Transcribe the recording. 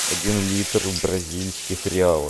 один литр в бразильских реалах